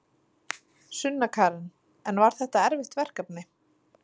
Sunna Karen: En var þetta erfitt verkefni?